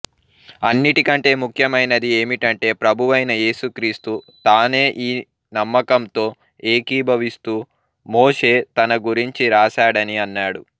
అన్నిటికంటే ముఖ్యమైనది ఏమిటంటే ప్రభువైన యేసుక్రీస్తు తానే ఈ నమ్మకంతో ఏకీభవిస్తూ మోషే తనగురించి రాశాడని అన్నాడు